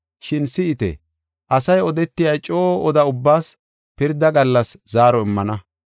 Shin si7ite, asay odetiya coo oda ubbaas pirda gallas zaaro immana.